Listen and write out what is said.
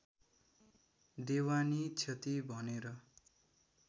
देवानी क्षति भनेर